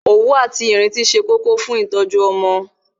Òwú àti Ìrintí ó ṣe kókó fún ìtọ́jú ọmọ